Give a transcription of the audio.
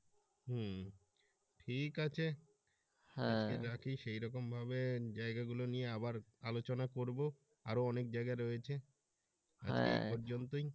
হম ঠিক আছে আজকে রাখি সেই রকম ভাবে জায়গা গুলো নিয়ে আবার আলোচনা করব আরো অনেক জায়গা রয়েছে আজকে এ পর্যন্তই।